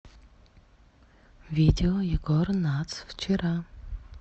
видео егор натс вчера